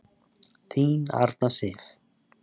Þín Arna Sif.